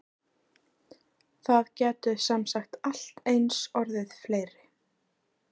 Það gætu semsagt allt eins orðið fleiri?